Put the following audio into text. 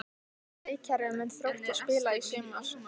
Hvaða leikkerfi mun Þróttur spila í sumar?